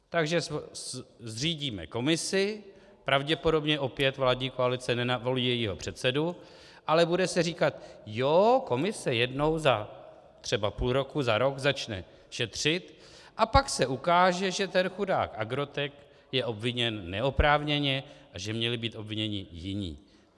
Takže zřídíme komisi, pravděpodobně opět vládní koalice nenavolí jejího předsedu, ale bude se říkat: Jo, komise jednou za třeba půl roku, za rok začne šetřit, a pak se ukáže, že ten chudák Agrotec je obviněn neoprávněně a že měli být obviněni jiní.